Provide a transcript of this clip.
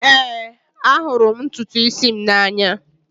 Ee, ahụrụ m ntutu isi m n'anya.